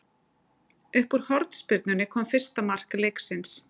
Upp úr hornspyrnunni kom fyrsta mark leiksins.